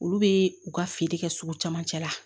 Olu bɛ u ka feere kɛ sugu camancɛ la